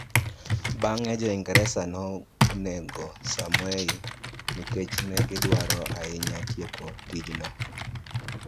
Bang'e, Jo-Ingresa nonego Samoei nikech ne gidwaro ahinya tieko tijno.